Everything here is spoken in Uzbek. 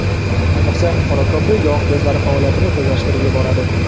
Ayniqsa, qora kofe yog‘ bezlari faoliyatini tezlashtirib yuboradi.